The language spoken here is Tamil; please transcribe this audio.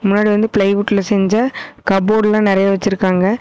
முன்னாடி வந்து பிளைவுட்ல செஞ்ச கபோர்டுலாம் நிறைய வெச்சிருக்காங்க.